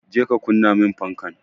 Je ka kunna min fanka!